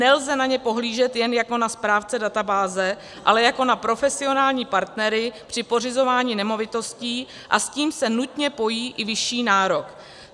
Nelze na ně pohlížet jen jako na správce databáze, ale jako na profesionální partnery při pořizování nemovitostí, a s tím se nutně pojí i vyšší nárok.